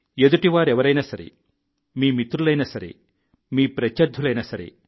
ఎదుటి వారెవరైనా సరే మీ మిత్రులైనా సరే మీ ప్రత్యర్థులైనా సరే